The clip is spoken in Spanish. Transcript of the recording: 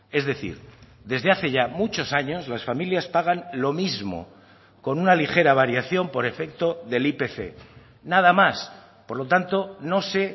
es decir desde hace ya muchos años las familias pagan lo mismo con una ligera variación por efecto del ipc nada más por lo tanto no sé